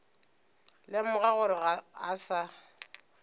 lemoga gore ga a sa